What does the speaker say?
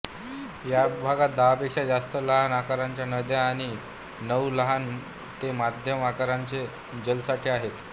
या भागात दहापेक्षा जास्त लहान आकाराच्या नद्या आणि नऊ लहान ते मध्यम आकाराचे जलसाठे आहेत